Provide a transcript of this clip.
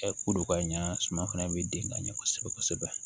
kodon ka ɲa suman fana bɛ den ka ɲɛ kosɛbɛ kosɛbɛ